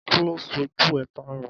Kí ló sọ jù é tayọ?